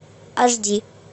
аш ди